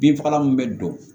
Binfagalan min bɛ don